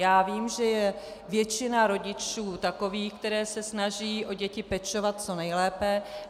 Já vím, že je většina rodičů takových, kteří se snaží o děti pečovat co nejlépe.